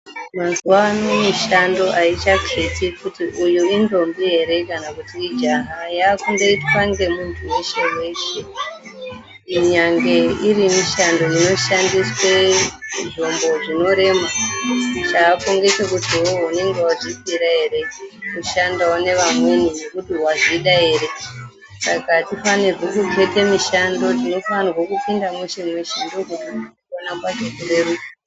Mwazuwano mishando ayichaketi kuti uyu indombi yere kana kuti ijaha yakundoitwa ngemuntu weshe weshe, kunyange iri mishando inoshandiswa zvombo zvinorema chaako ngechekuti iwewe unenge wazviithira yere kushandawo ngevamweni ngekuti wazvida yere. Saka atifanirwi kuketa mishando tinofanirwaa kupinda mweshe mweshe ndiko kuti tigoramba tichirerukirwa.